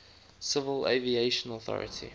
civil aviation authority